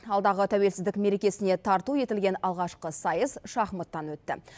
алдағы тәуелсіздік мерекесіне тарту етілген алғашқы сайыс шахматтан өтті